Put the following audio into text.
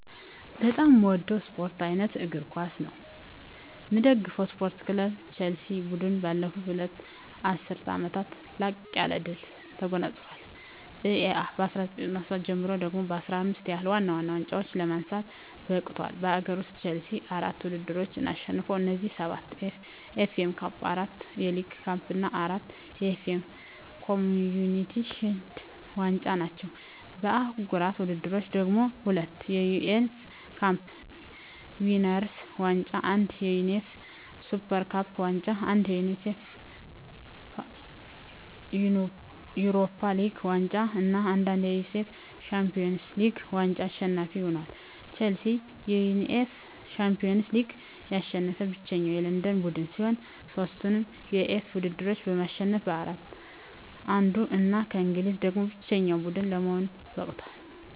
በጣም ምወደው ስፓርት አይነት እግር ኳስ ነው። ምደግፈው ስፓርት ክለብ ቸልሲ። ቡድኑ ባለፉት ሁለት ዐሥርት ዓመታት ላቅ ያለ ድል ተጎናጽፏል። ከእ.ኤ.አ 1997 ጀምሮ ደግሞ 15 ያህል ዋና ዋና ዋንጫዎችን ለማንሳት በቅቷል። በአገር ውስጥ፣ ቼልሲ አራት ውድድሮችን አሸንፏል። እነዚህም፤ ሰባት የኤፍ ኤ ካፕ፣ አራት የሊግ ካፕ እና አራት የኤፍ ኤ ኮምዩኒቲ ሺልድ ዋንጫዎች ናቸው። በአህጉራዊ ውድድሮች ደግሞ፤ ሁለት የዩኤፋ ካፕ ዊነርስ ዋንጫ፣ አንድ የዩኤፋ ሱፐር ካፕ ዋንጫ፣ አንድ የዩኤፋ ዩሮፓ ሊግ ዋንጫ እና አንድ የዩኤፋ ሻምፒዮንስ ሊግ ዋንጫ አሸናፊ ሆኖአል። ቼልሲ የዩኤፋ ሻምፒዮንስ ሊግን ያሸነፈ ብቸኛው የለንደን ቡድን ሲሆን፣ ሦስቱንም የዩኤፋ ውድድሮች በማሸነፍ ከአራቱ አንዱ እና ከእንግሊዝ ደግሞ ብቸኛው ቡድን ለመሆን በቅቷል።